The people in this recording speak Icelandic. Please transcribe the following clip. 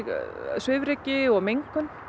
svifryki og mengun